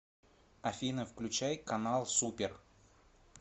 афина включай канал супер